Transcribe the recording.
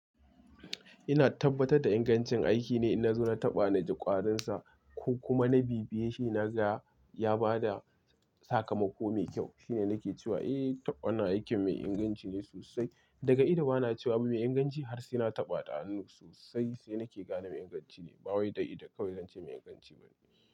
Ina tabbatar da ingancin aiki ne idan na taɓa naji ƙwarinsa ko kuma na bibiye shi na ga, ya ba da sakamako mai kyau. Shine nake cewa, "Eh, taɓa na aiki mai inganci ne sosai." Daga ido bana cewa abu mai inganci har sai na taɓa ta hannu sosai sai nake gane inganci ne. Ba wai da ido kawai zance mai inganci ba ne.